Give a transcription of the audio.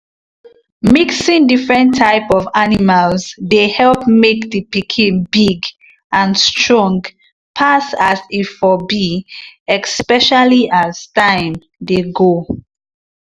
mixing different type of animals dey help make the pikin big and strong pass as e for be especially as time dey go.